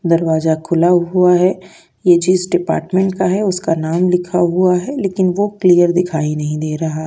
दरवाज़ा खुला हुआ है। ये जिस डिपार्टमेंट का है उसका नाम लिखा हुआ है लेकिन वो क्लियर दिखाई नहीं दे रहा।